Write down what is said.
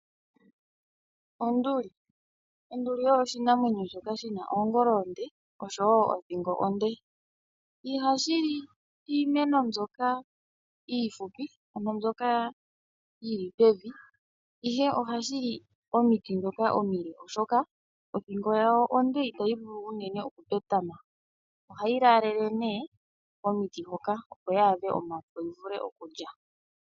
Onduli oyo oshinamwenyo shoka shina oongolo oonde oshowo othingo onde . Ihashili iimeno mbyoka iihupi ano mbyoka yili pevi ihe ohashili omiti ndhoka omile ,oshoka othingo ya yo onde itayi vulu unene petama. Ohayi laalele komiti hoka opo yi adhe omafo yivule okulya.